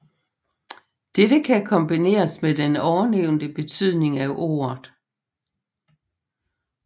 Dette kan kombineres med den ovennævnte betydning af ordet